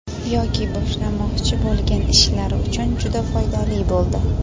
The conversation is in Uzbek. yoki boshlamoqchi bo‘lgan ishlari uchun juda foydali bo‘ldi.